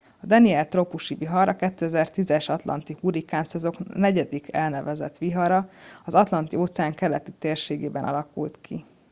a danielle trópusi vihar a 2010 es atlanti hurrikánszezon negyedik elnevezett vihara az atlanti óceán keleti térségében alakult ki